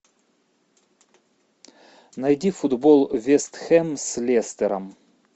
найди футбол вест хэм с лестером